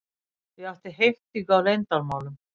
Ég átti heimtingu á leyndarmálum.